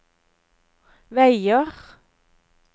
veier